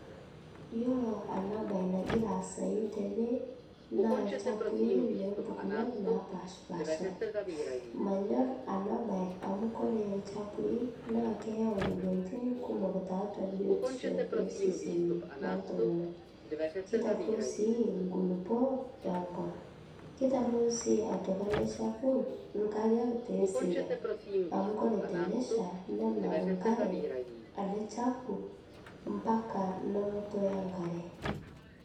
Iyolo ana bai nagira aasai tenee naa lchapui lempukunot napaashpaasha manyorr ana bai amu kore lchapui naa keyeu moyanitin kumok taatua biotisho eseseni loltungana keitaruo sii nkulipoo enkop keitaruo otoki alee chapuu nkariak te seriak amu kore tenesha nenap nkaree ale chapuu mpaka nonghoto enkare.